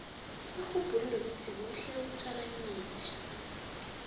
irhubhululo lithi kuhle ukutjala imithi